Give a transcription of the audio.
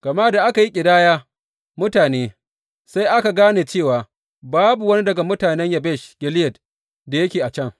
Gama da aka yi ƙidaya mutane, sai aka gane cewa babu wani daga mutanen Yabesh Gileyad da yake a can.